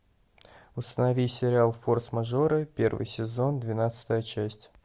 установи сериал форс мажоры первый сезон двенадцатая часть